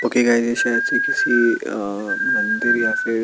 okay guys ये शायद ही किसी अ मंदिर या फिर--